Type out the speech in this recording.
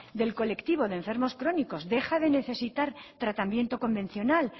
del colectivo de enfermos crónicos deja de necesitar tratamiento convencional